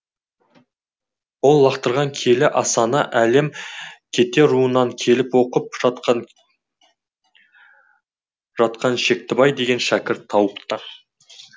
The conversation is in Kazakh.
ол лақтырған киелі асаны әлім кете руынан келіп оқып жатқан жатқан шектібай деген шәкірт тауыпты